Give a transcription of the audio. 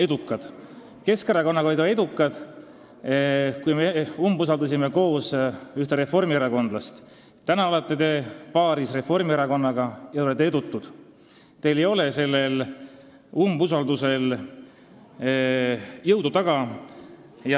Koos Keskerakonnaga te olite edukad, kui me koos ühte reformierakondlast umbusaldasime, täna te olete paaris Reformierakonnaga ja olete edutud, teie umbusaldusavaldusel ei ole jõudu taga.